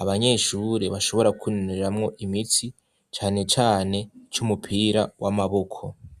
abanyeshure bashobora kwinonoreramwo imitsi cane cane c'umupira w'amaboko.